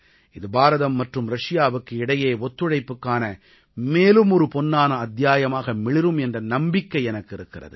இது பாரதம் மற்றும் ரஷியாவுக்கு இடையே ஒத்துழைப்புக்கான மேலும் ஒரு பொன்னான அத்தியாயமாக மிளிரும் என்ற நம்பிக்கை எனக்கு இருக்கிறது